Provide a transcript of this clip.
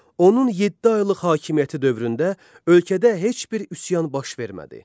Onun yeddi aylıq hakimiyyəti dövründə ölkədə heç bir üsyan baş vermədi.